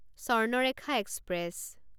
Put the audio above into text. Swarnarekha express